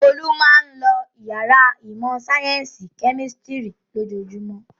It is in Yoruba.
Olú máa ń lo ìyàrá ìmọ̀-sáyẹ́ńsì kẹ́mísítírì ojoojúmọ́.